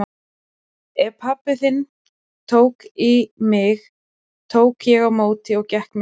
Ef pabbi tók í mig tók ég á móti og gekk miklu lengra.